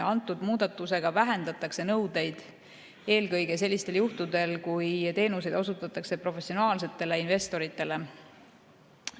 Antud muudatusega vähendatakse nõudeid eelkõige sellistel juhtudel, kui teenuseid osutatakse professionaalsetele investoritele.